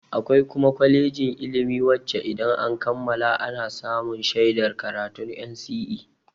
Akwai kuma kwalejin ilimi wacce idan an kammala ana samun shaidar karatun NCE.